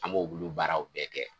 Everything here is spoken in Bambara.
An b'o bulu baaraw bɛɛ kɛ